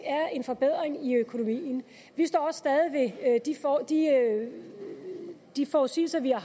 er en forbedring i økonomien vi står stadig ved de forudsigelser vi har